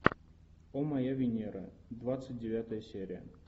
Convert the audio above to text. о моя венера двадцать девятая серия